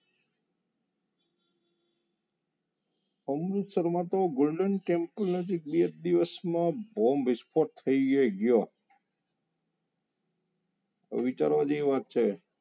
અમૃતસરમાં તો golden temple નજીક બે જ દિવસમાં bomb visfot થઈ ગયો તો વિચારવા જેવી વાત છે.